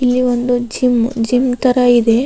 ಇಲ್ಲಿ ಒಂದು gym gym ತರ ಇದೆ.